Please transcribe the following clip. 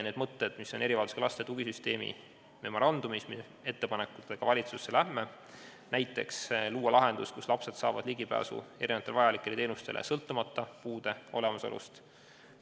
Need mõtted, mis on erivajadusega laste tugisüsteemi memorandumis, ja ettepanekud, millega me valitsusse läheme, sisaldavad näiteks plaani luua lahendus, mis võimaldaks lastel ligi pääseda mitmesugustele vajalikele teenustele sõltumata puude olemasolust.